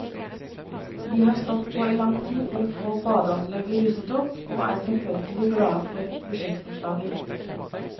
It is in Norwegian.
De har stått på i lang tid for å få badeanlegget rustet opp, og er selvfølgelig glade for budsjettforslaget.